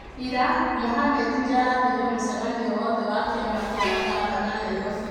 Ira, Mohamed nĩ arathiire mũcemanio wothe wa kĩama kĩa mangavana Nairobi.